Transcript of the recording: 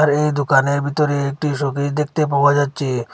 এই দুকানের ভিতরে একটি শোকেস দেখতে পাওয়া যাচ্চে।